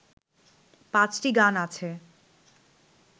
পাঁচটি গান আছে